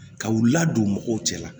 Ka u ladon mɔgɔw cɛ la